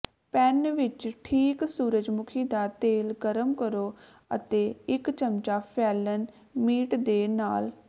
PAN ਵਿੱਚ ਠੀਕ ਸੂਰਜਮੁਖੀ ਦਾ ਤੇਲ ਗਰਮ ਕਰੋ ਅਤੇ ਇੱਕ ਚਮਚਾ ਫੈਲਣ ਮੀਟ ਦੇ ਨਾਲ